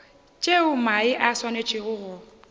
tšeo mae a swanetšego go